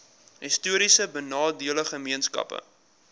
histories benadeelde gemeenskappe